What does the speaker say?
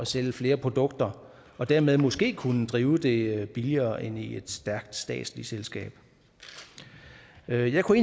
sælge flere produkter og dermed måske kunne drive det billigere end i et stærkt statsligt selskab jeg jeg kunne